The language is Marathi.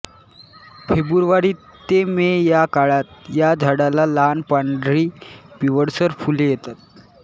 फेब्रुवारी ते मे या काळात या झाडाला लहान पांढरी पिवळसर फुले येतात